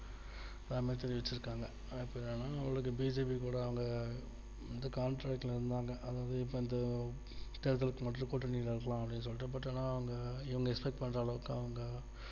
அமைச்சர் ஏற்றிருக்காங்க அவளுக்கு BJP கூட அவங்க வந்து contract ல இருந்தாங்க அதுவந்து இப்போ தேர்தல் மட்டும் கூட்டணி வைக்கலாம் அப்டின்னு சொல்ட்ட but ஆனா அவங்க expect பண்ற அளவுக்கு அவங்க